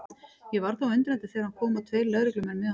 Ég varð þó undrandi þegar hann kom og tveir lögreglumenn með honum.